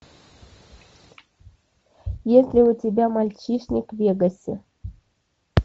есть ли у тебя мальчишник в вегасе